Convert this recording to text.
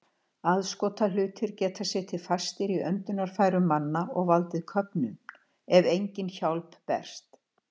Aðskotahlutir geta setið fastir í öndunarfærum manna og valdið köfnun, ef engin hjálp berst.